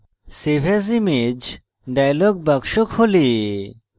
save as image dialog box খোলে